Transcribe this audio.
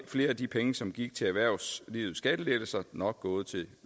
flere af de penge som gik til erhvervslivets skattelettelser nok gået til